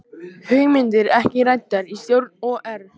Hugmyndir ekki ræddar í stjórn OR